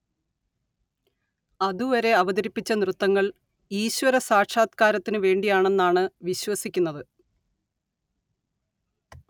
അതുവരെ അവതരിപ്പിച്ച നൃത്തങ്ങൾ ഈശ്വര സാക്ഷാത്കാരത്തിന് വേണ്ടിയാണെന്നാണ് വിശ്വസിക്കുന്നത്